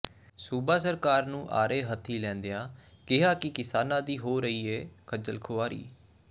ਸੂਬਾ ਸਰਕਾਰ ਨੂੰ ਆੜੇ ਹੱਥੀ ਲੈਦਿਆਂ ਕਿਹਾ ਕਿ ਕਿਸਾਨਾਂ ਦੀ ਹੋ ਰਹੀ ਏ ਖਜਲ ਖੁਆਰੀ